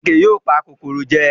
Àkekèé yóò pa kòkòrò jẹ